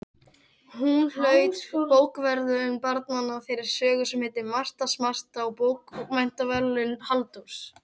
Hún hlaut Bókaverðlaun barnanna fyrir sögu sem heitir Marta smarta og Bókmenntaverðlaun Halldórs